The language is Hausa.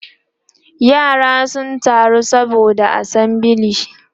yara sun taru saboda assembly